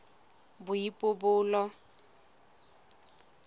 boipobolo